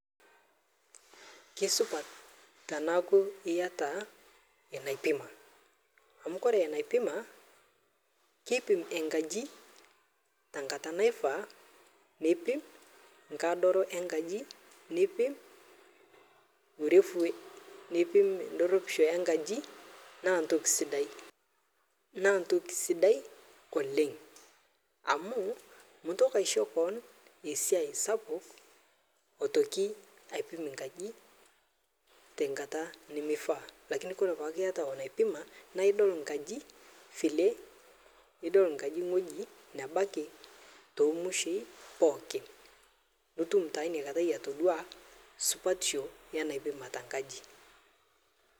Kisupat teneeku eyata enaipima amu ore enaipima kipim enkaji tenkata naifaa nipimi tenkadoro enkaji nipim urefu nipim edorooisho enkaji naa entoki sidai oleng amu mintoki aishoo kewon esiai sapuk aitoki aipim enkaji tenkata nimefaa lakini ore entoki naipima nidol enkaji ewueji nebaiki too mushoi pookin nitum enakata atodua supatisho enaipima enkaji